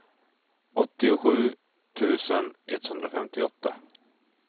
åttiosju tusen etthundrafemtioåtta